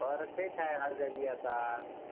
तर तेच आहे हर जागी आता.